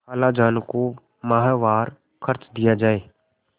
खालाजान को माहवार खर्च दिया जाय